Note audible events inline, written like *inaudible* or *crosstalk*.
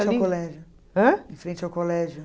*unintelligible* Ãh? Em frente ao colégio.